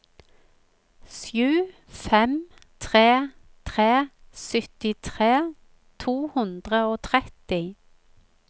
sju fem tre tre syttitre to hundre og tretti